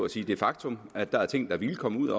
sige det faktum at der også er ting der ville komme ud